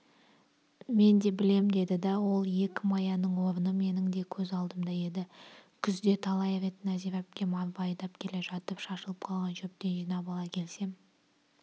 мен де білем деді да ол екі маяның орны менің де көз алдымда еді күзде талай рет нәзира әпкем арба айдап келе жатып шашылып қалған шөптен жинап ала келсем